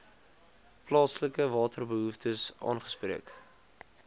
plaaslike waterbehoeftes aangespreek